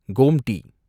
Gomti